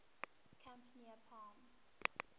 camp near palm